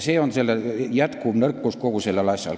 See on kogu selle asja jätkuv nõrkus.